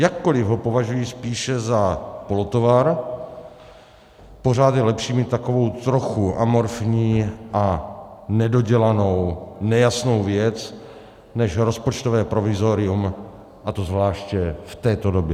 Jakkoli ho považuji spíše za polotovar, pořád je lepší mít takovou trochu amorfní a nedodělanou, nejasnou věc než rozpočtové provizorium, a to zvláště v této době.